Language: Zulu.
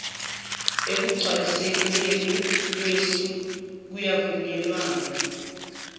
ekugcwalisekeni kwesu kwavunyelwana